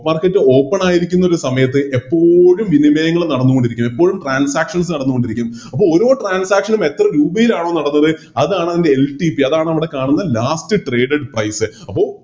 Market open ആയിരിക്കുന്ന ഒരു സമയത്ത് എപ്പോഴും വിനിമയങ്ങള് നടന്നോണ്ടിരിക്കാണ് എപ്പോഴും Transactions നടന്നോണ്ടിരിക്കും അപ്പോ ഓരോ Transaction നും എത്ര രൂപയിലാണോ നടന്നത് അതാണതിൻറെ LTP അതാണവിടെ കാണുന്ന Last graded price അപ്പൊ